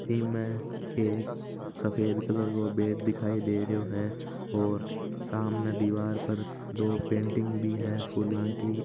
इसमे में एक सफेद कलर को बेड दिखाई दे रो हैं और सामने दीवार पर दो पेंटिग भी है फुला की --